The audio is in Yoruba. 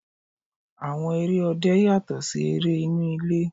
Àwọn eré òde yàtọ̀ sí eré inú ilé.